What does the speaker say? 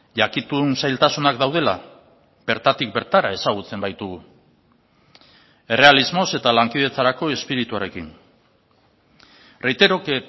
jakitun zailtasunak daudela bertatik bertara ezagutzen baitugu errealismoz eta lankidetzarako espirituarekin reitero que